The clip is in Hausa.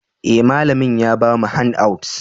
Eh, malamin ya bamu handouts.